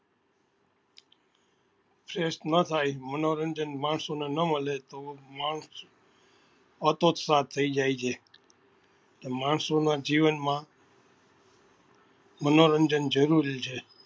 શેષ નાં થાય મનોરંજન માણસો ને નાં મળે તો થઇ જાય છે એટલે માણસો નાં જીવન માં મનોરંજન જરૂરી છે